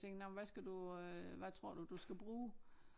Tænker nåh men hvad skal du øh hvad tror du du skal bruge